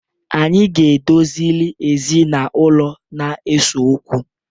Anyị ga-edozili ezinaụlọ na-eso okwu.